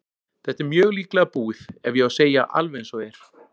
Þetta er mjög líklega búið ef ég á að segja alveg eins og er.